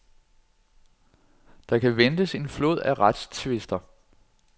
Der kan ventes en flod af retstvister.